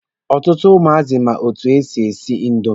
Ọtụtụ ụmụazị ma etu e si esi indomi.